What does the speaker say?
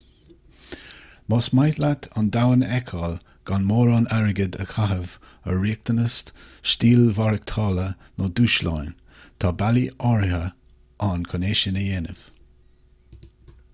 más mian leat an domhan a fheiceáil gan mórán airgid a chaitheamh ar riachtanas stíl mhaireachtála nó dúshlán tá bealaí áirithe ann chun é sin a dhéanamh